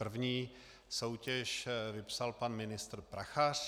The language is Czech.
První soutěž vypsal pan ministr Prachař.